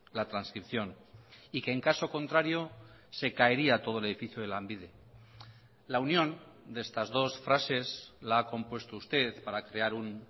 la trascripción y que en caso contrario se caería todo el edificio de lanbide la unión de estas dos frases la ha compuesto usted para crear un